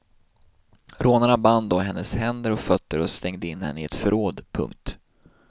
Rånarna band då hennes händer och fötter och stängde in henne i ett förråd. punkt